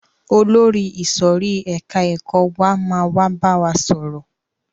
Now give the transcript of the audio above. Olórí ìsòrí ẹka ẹ̀kọ́ wa máa wá bá wa sọ̀rọ̀.